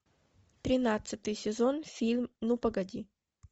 тринадцатый сезон фильм ну погоди